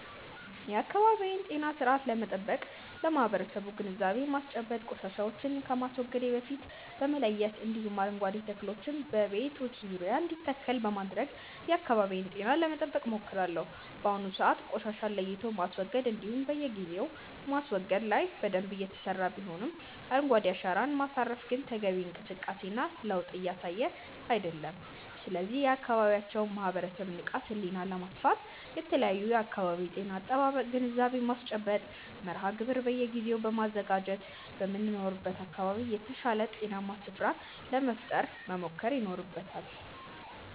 የአካባቢዬን ጤና ስርአት ለመጠበቅ ለማበረሰቡ ግንዛቤ ማስጨበጥ፣ ቆሻሻዎችን ከማስወገዴ በፊት በመለየት እንዲሁም አረንጓዴ ተክሎችን በቤቶች ዙሪያ እንዲተከል በማድረግ የአካባቢዬን ጤና ለመጠበቅ ሞክራለሁ። በአሁኑ ሰዓት ቆሻሻን ለይቶ ማስወገድ እንዲሁም በየጊዜው ማስወገድ ላይ በደንብ እየተሰራ ሲሆን አረንጓዴ አሻራን ማሳረፍ ግን ተገቢውን እንቅስቃሴ እና ለዉጥ እያሳየ አይደለም። ስለዚህም የአካባቢውን ማህበረሰብ ንቃተ ህሊና ለማስፋት የተለያዩ የአካባቢ ጤና አጠባበቅ ግንዛቤ ማስጨበጫ መርሃ ግብር በየጊዜው በማዘጋጀት በምንኖርበት አካባቢ የተሻለ ጤናማ ስፍራን ለመፍጠር መሞከር ይኖርበታል።